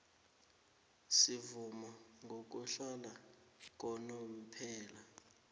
semvumo yokuhlala yakanomphela